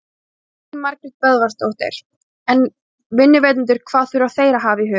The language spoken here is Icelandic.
Elín Margrét Böðvarsdóttir: En vinnuveitendur hvað þurfa þeir að hafa í huga?